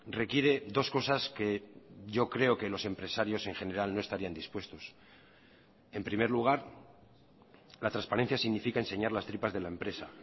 requiere dos cosas que yo creo que los empresarios en general no estarían dispuestos en primer lugar la transparencia significa enseñar las tripas de la empresa